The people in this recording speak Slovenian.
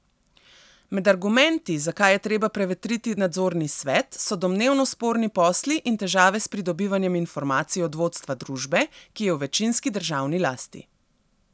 Med argumenti, zakaj je treba prevetriti nadzorni svet, so domnevno sporni posli in težave s pridobivanjem informacij od vodstva družbe, ki je v večinski državni lasti.